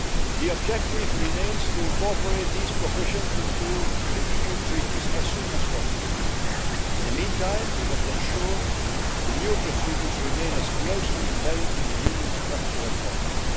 The objective remains to incorporate these provisions into the EU Treaties as soon as possible. In the meantime, we must ensure that the new procedures remain as closely embedded in the Union's structure as possible.